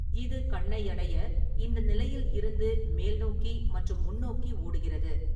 இது கண்ணை அடைய இந்த நிலையில் இருந்து மேல்நோக்கி மற்றும் முன்னோக்கி ஓடுகிறது.